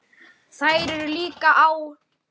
Þær eru líka á